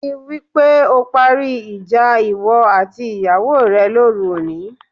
Rí i wí pé o parí ìjà ìwọ àti ìyàwó rẹ lóru òní